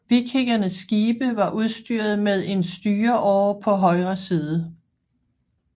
Vikingernes skibe var udstyret med én styreåre på højre side